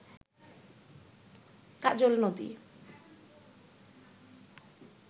কাজল নদী